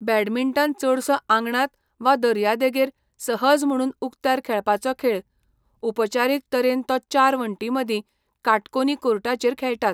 Badminton चडसो आंगणांत वा दर्यादेगेर सहज म्हुणून उक्त्यार खेळपाचो खेळ, उपचारीक तरेन तो चार वण्टींमदीं काटकोनी कोर्टाचेर खेळटात.